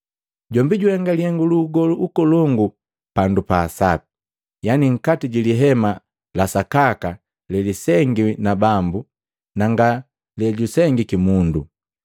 Jombi juhenga lihengu lu ugolu ukolongu pandu pa asapi, yani nkati ji lihema la sakaka lelisengiwi na Bambu, na nga le jusengiki mundo.